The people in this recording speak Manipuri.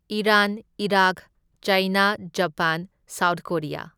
Iran, Iraq, China, Japan, South Korea.